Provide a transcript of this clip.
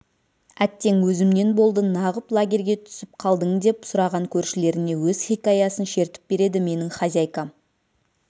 әттең өзімнен болды нағып лагерьге түсіп қалдың деп сұраған көршілеріне өз хикаясын шертіп береді менің хозяйкам